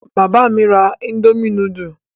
Bàbá mi ra indomie núdúlù?